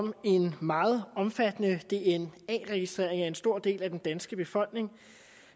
om en meget omfattende dna registrering af en stor del af den danske befolkning